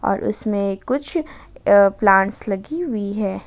और उसमें कुछ प्लांट्स लगी हुई है।